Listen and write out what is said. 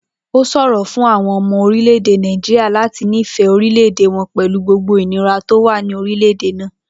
Ó s̩òro fún àwo̩n o̩mo̩ orílè̩-èdè Nàìjíríà láti nífè̩é̩ orílè̩-èdè wo̩n pè̩lú gbogbo ìnira tó wà ní orílè̩-èdè náà